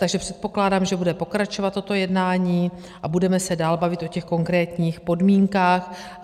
Takže předpokládám, že bude pokračovat toto jednání a budeme se dál bavit o těch konkrétních podmínkách.